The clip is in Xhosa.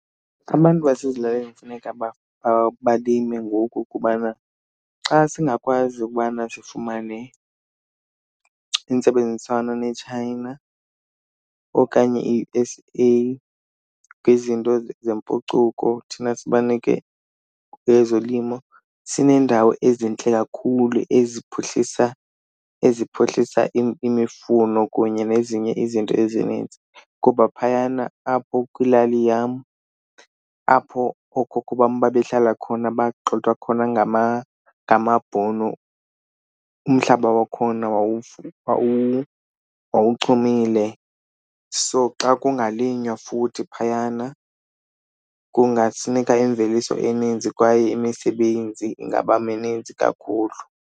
Abantu basezilalini funeka balime ngoku kubana xa singakwazi ukubana sifumane intsebenziswano neChina okanye i-U_S_A kwizinto zempucuko, thina sibanike ezolimo, sineendawo ezintle kakhulu eziphuhlisa, eziphuhlisa imifuno kunye nezinye izinto ezininzi. Kuba phayana apho kwilali yam, apho ookhokho bam babehlala khona bagxothwa khona ngamaBhunu umhlaba wakhona wawuchumile, so xa kungalinywa futhi phayana kungafuneka imveliso eninzi kwaye imisebenzi ingaba mininzi kakhulu.